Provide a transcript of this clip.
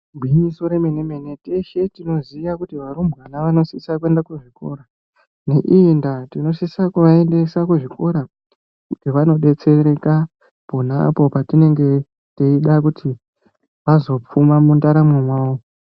Igwinyiso remene-mene, teshe tinoziya kuti varumbwana vanosisa kuenda kuzvikora. Neiyi ndaa, tinosisa kuvaendesa kuzvikora, kuti vazodetsereka, pona apo patinenge teida kuti, vazopfuma mundaramo mwavo.